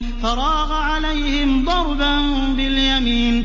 فَرَاغَ عَلَيْهِمْ ضَرْبًا بِالْيَمِينِ